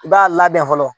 I b'a labɛn fɔlɔ